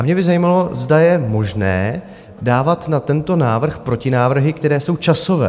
A mě by zajímalo, zda je možné dávat na tento návrh protinávrhy, které jsou časové.